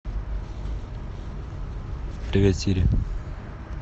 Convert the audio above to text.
привет сири